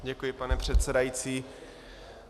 Děkuji, pane předsedající.